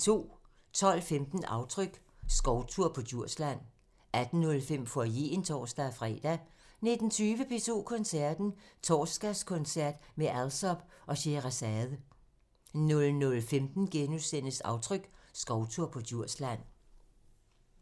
12:15: Aftryk – Skovtur på Djursland 18:05: Foyeren (tor-fre) 19:20: P2 Koncerten – Torsdagskoncert med Alsop og Sheherazade 00:15: Aftryk – Skovtur på Djursland *